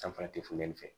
Sanfɛ te funteni fɛ